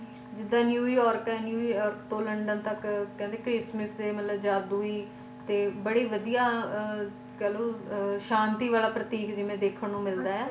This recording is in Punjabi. ਜਿੱਦਾਂ ਨਿਊ ਯਾਰ੍ਕ ਨਿਊ ਯਾਰ੍ਕ ਤੋਂ ਲੰਡਨ ਤੱਕ ਕਹਿੰਦੇ Christmas ਤੇ ਜਾਦੂਈ ਤੇ ਬੜੇ ਵਧੀਆ ਕਹਿ ਲੋ ਸ਼ਾਂਤੀ ਆਲਾ ਪ੍ਰਤੀਕ ਜਿਵੇ ਦੇਖਣ ਨੂੰ ਮਿਲਦਾ ਆ।